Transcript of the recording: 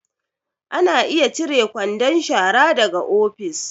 Ana iya cire kwandon shara daga ofis